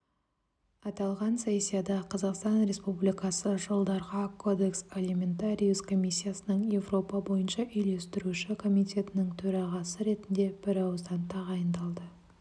аталған сессияда қазақстан республикасы жылдарға кодекс алиментариус комиссиясының еуропа бойынша үйлестіруші комитетінің төрағасы ретінде бірауыздан тағайындалды